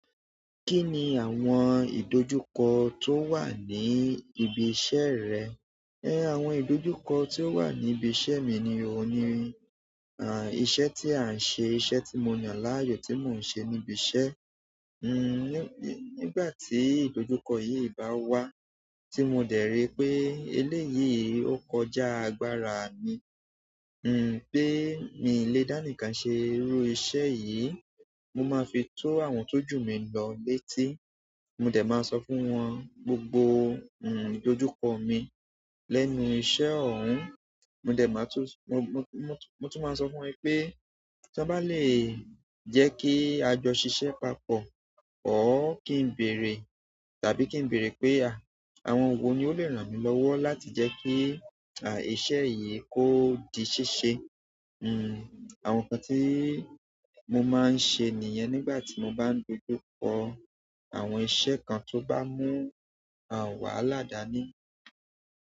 Kí ni àwọn ìdọ̀ju ko tó wà ní ibi iṣẹ́ rẹ? Àwọn idoju ko ti o wa ni ibi iṣẹ́ mi ni oun ni iṣẹ́ ti an se iṣẹ́ ti mo yan ni aayo ti mo n se ni ibi iṣẹ́. Nígbà tí ìdojúkọ yìí bá wá tí mo dẹ̀ rí pé eléyìí ó kọjá agbára mi, n pé mi ò lè dání ká ṣe irú iṣẹ́ yìí, mo máa fi tó àwọn tó jù mi lọ létí. Mo dẹ̀ máa sọ fún wọn gbogbo, n, ìdojúkọ mi lẹ́nu iṣẹ́ ọ̀hún. Mo dẹ̀ máa tú, mo, mo, mo tún máa sọ fún wọn pé tí wọ́n bá lè jẹ́ kí a jọ ṣiṣẹ́ papọ̀, ò kí n bèèrè tàbí kí n bèèrè pé àwọn wo ni ó lè ràn mí lọ́wọ́ láti jẹ́ kí, a, iṣẹ́ yìí kó di ṣíṣe. N, àwọn nǹkan tí mo máa ń sẹ nìyẹn nígbà tí mo bá dojú kọ àwọn iṣẹ́ kan tó bá mú, a, wà ládàá ní.